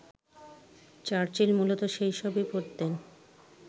Churchill মূলত সেসবই পড়তেন